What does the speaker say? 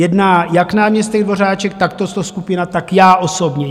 Jedná jak náměstek Dvořáček, tak tato skupina, tak já osobně.